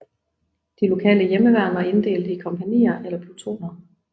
De lokale hjemmeværn var inddelt i kompagnier eller plutoner